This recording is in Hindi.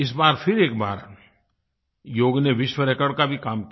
इस बार फिर एक बार योग ने विश्व रिकॉर्ड का भी काम किया